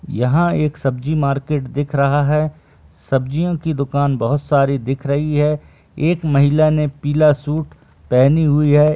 यहाँ एक सब्जी मार्केट दिख रहा है सब्जियों की दुकान बहोत सारी दिख रही है एक महिला ने पीला सूट पहनी हुई है।